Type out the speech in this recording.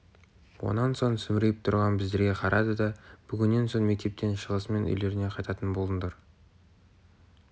онан соң сүмірейіп тұрған біздерге қарады бүгіннен соң мектептен шығысымен үйлеріңе қайтатын болыңдар